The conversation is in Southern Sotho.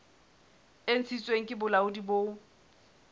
e ntshitsweng ke bolaodi bo